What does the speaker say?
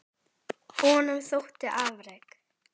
Honum þóttu afrek